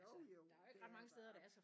Jo jo det er der